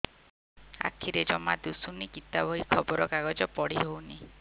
ଆଖିରେ ଜମା ଦୁଶୁନି ଗୀତା ବହି ଖବର କାଗଜ ପଢି ହଉନି